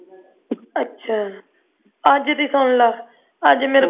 ਅੱਛਾ ਅੱਜ ਦੀ ਸੁਣ ਲ ਅੱਜ ਮੇਰੇ ਕੋਲ